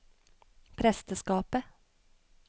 presteskapet